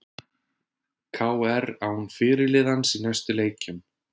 KR án fyrirliðans í næstu leikjum